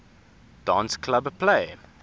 dance club play